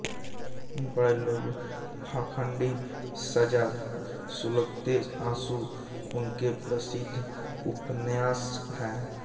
बड़े लोग पाखंडी सजा सुलगते आंसू इनके प्रसिद्ध उपन्यास हैं